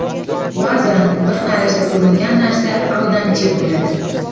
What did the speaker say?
Ba’zan bir qarashda ko‘ringan narsa aldamchi bo‘ladi.